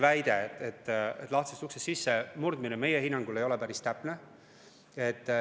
Väide, et see on lahtisest uksest sissemurdmine, meie hinnangul ei ole päris täpne.